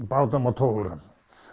bátum og togurum